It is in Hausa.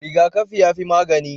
Rigakafi yafi magani